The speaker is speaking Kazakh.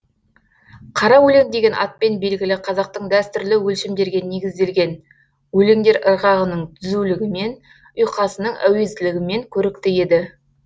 қара өлең деген атпен белгілі қазақтың дәстүрлі өлшемдерге негізделген өлеңдер ырғағының түзулігімен ұйқасының әуезділігімен көрікті еді